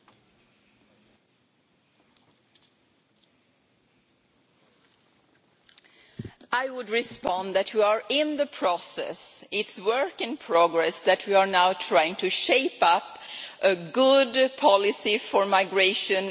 I would respond that we are in the process, it is work in progress that we are now trying to shape up a good policy for migration and refugees, where every Member State has to take its part of the responsibility.